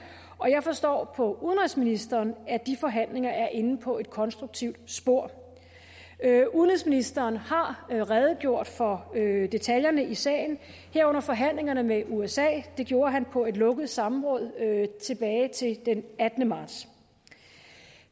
og jeg forstår på udenrigsministeren at de forhandlinger er inde på et konstruktivt spor udenrigsministeren har redegjort for detaljerne i sagen herunder forhandlingerne med usa det gjorde han på et lukket samråd den attende marts